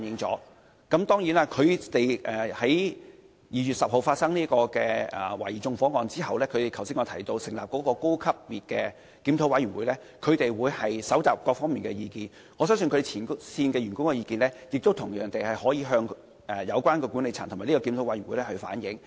在2月10日發生涉嫌縱火案後，港鐵公司成立了我剛才曾提及的高層次檢討委員會，收集各方面的意見，我相信前線員工的意見同樣可向有關管理層和檢討委員會反映。